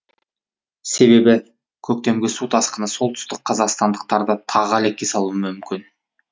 себебі көктемгі су тасқыны солтүстікқазақстандықтарды тағы әлекке салуы мүмкін